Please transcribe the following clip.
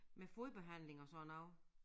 Med fodbehandling og sådan noget